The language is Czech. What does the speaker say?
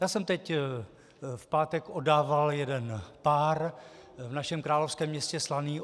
Já jsem teď v pátek oddával jeden pár v našem královském městě Slaný.